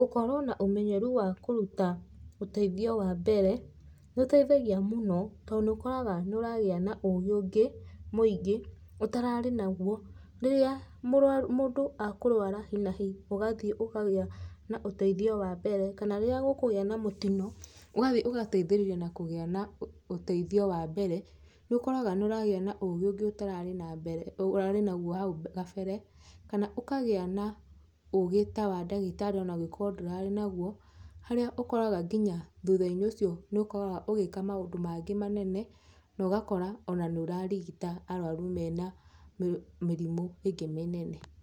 Gũkorwo na ũmenyeru wa kũruta ũteithio wa mbere, nĩ ũteithagia mũno to nĩũkoraga nĩ ũragĩa na ũgĩ ũngĩ mũingĩ ũtararĩ naguo, rĩrĩa mũndũ ekũrwara hi na hi ũgathiĩ ũkagĩa na ũteithio wa mbere, kana rĩrĩa gũkũgĩa na mũtino ũgathiĩ ũgateithĩrĩria na kũgĩa na ũteithio wa mbere nĩ ũkoraga nĩ ũragĩa na ũgĩ ũngĩ ũtararĩ naguo hau kabere kana ũkagĩa na ũgĩ ta wa ndagĩtarĩ onangĩkorwo ndũrarĩ naguo, harĩa ũkoragwo nginya thutha-inĩ ũcio nĩũkoraga ũgĩka maũndũ mangĩ manene na ũgakora ona nĩ ũrarigita arwaru mena mĩrimũ ĩngĩ mĩnene.